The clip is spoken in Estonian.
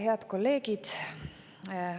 Head kolleegid!